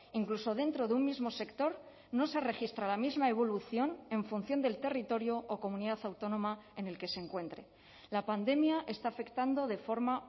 incluso dentro de un mismo sector no se registra la misma evolución en función del territorio o comunidad autónoma en el que se encuentre la pandemia está afectando de forma